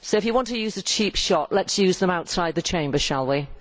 So if you want to use a cheap shot, let us use it outside the Chamber, shall we?